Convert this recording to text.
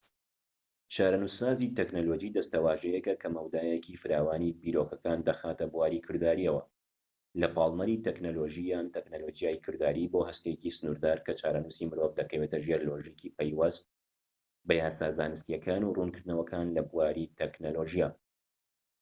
چارەنووسسازی تەکنەلۆجی دەستەواژەیەکە کە مەودایەکی فراوانی بیرۆکەکان دەخاتە بواری کردارییەوە لە پاڵنەری تەکنەلۆژی یان تەکنەلۆجیای کرداریی بۆ هەستێکی سنوردار کە چارەنووسی مرۆڤ دەکەوێتە ژێر لۆژیکی پەیوەست بە یاسا زانستیەکان و ڕوونکردنەوەکان لە بواری تەکنەلۆجیا